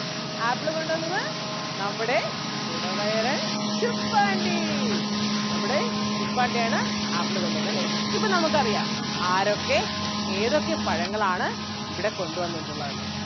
Apple കൊണ്ട് വന്നത് നമ്മടെ കുടവയറൻ ശുപ്പാണ്ടി നമ്മുടെ ശുപ്പാണ്ടി ആണ് ആപ്പിള് കൊണ്ട് വന്നതല്ലേ. ഇപ്പൊ നമുക്ക് അറിയാം ആരൊക്കെ ഏതൊക്കെ പഴങ്ങൾ ആണ് ഇവിടെ കൊണ്ട് വന്നിട്ടുള്ളതെന്ന്.